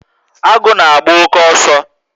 Agu na agba-oke ọsọ